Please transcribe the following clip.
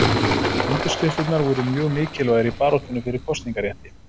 Undirskriftirnar voru mjög mikilvægar í baráttunni fyrir kosningarétti.